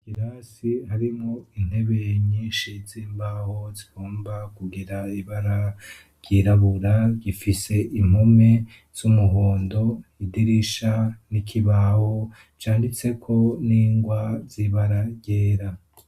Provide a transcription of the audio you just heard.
Ikirasi harimwo intebe nyinshi z'imbaho zigomba kugira ibara ryirabura, gifise impome z'umuhondo, idirisha n'ikibaho canditseko n'ingwa zibara ryera.